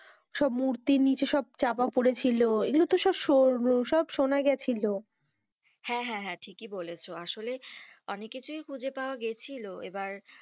সব মূর্তির নিচে সব চাপা পড়েছিল এ গুলো তো সো~ সো~ শুনা গেছিলো, হেঁ, হেঁ, হেঁ ঠিকি বলেছো আসলে অনেক কিছুই খুঁজে পাওয়া গেছিলো এবার,